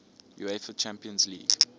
uefa champions league